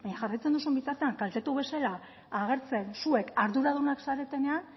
jarraitzen duzun bitartean kaltetu bezala agertzen zuek arduradunak zaretenean